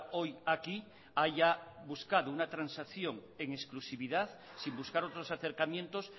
hoy aquí haya buscado una transacción en exclusividad sin buscar otros acercamientos